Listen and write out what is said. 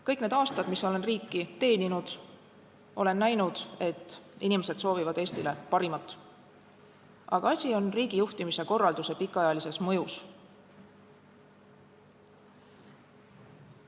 Kõik need aastad, kui olen riiki teeninud, olen näinud, et inimesed soovivad Eestile parimat, aga asi on riigijuhtimise korralduse pikaajalises mõjus.